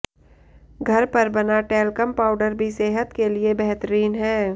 घर पर बना टैल्कम पाउडर भी सेहत के लिए बेहतरीन है